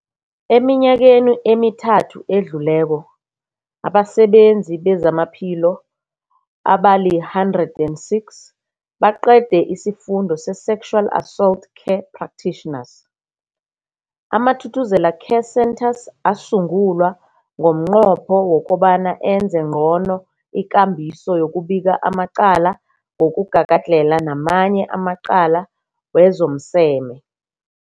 Eminyakeni emithathu edluleko, abasebenzi bezamaphilo abali-106 baqede isiFundo se-Sexual Assault Care Practitioners. AmaThuthuzela Care Centres asungulwa ngomnqopho wokobana enze ngcono ikambiso yokubika amacala wokugagadlhela namanye amacala wezomseme.